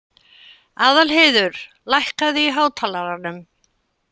Aðalheiður, lækkaðu í hátalaranum.